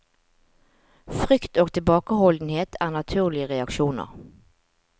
Frykt og tilbakeholdenhet er naturlige reaksjoner.